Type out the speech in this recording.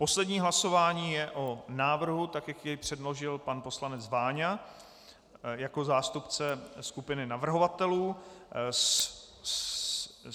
Poslední hlasování je o návrhu, tak jak jej předložil pan poslanec Váňa jako zástupce skupiny navrhovatelů.